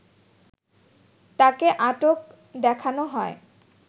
তাকে আটক দেখানো হয়